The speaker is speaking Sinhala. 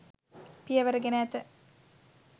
පියවර ගෙන ඇත.